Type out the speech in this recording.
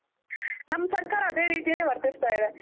ನಮ್ ಸರ್ಕಾರ ಅದೆ ರಿತಿನೆ ವರ್ತಸ್ತ ಇದೆ.